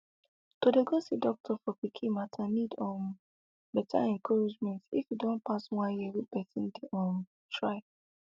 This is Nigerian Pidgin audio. to dey go see doctor for pikin matter need um better encouragement if e don pass one year wey person dey um try